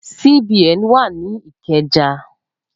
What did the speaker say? CBN wa ni Ikeja